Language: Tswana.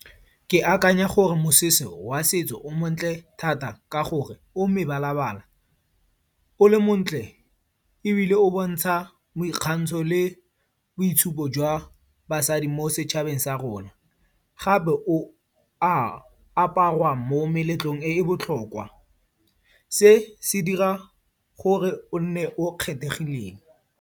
Ke akanya gore mosese wa setso o montle thata ka gore o mebala-bala. O le montle, ebile o bontsha boikgantsho le boitshupo jwa basadi mo setšhabeng sa rona. Gape o a aparwa mo meletlong e e botlhokwa. Se se dira gore o nne o kgethegileng.